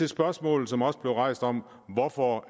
spørgsmålet som også blev rejst om hvorfor